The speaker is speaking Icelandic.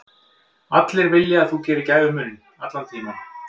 Allir vilja að þú gerir gæfumuninn, allan tímann.